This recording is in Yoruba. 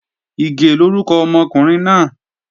Ìgè lórúkọ ọmọkùnrin náà